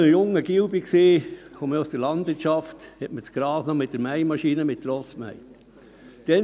Als ich noch ein junger Bub war – ich komme ja aus der Landwirtschaft –, mähte man das Gras noch mit der Mähmaschine mit Pferden.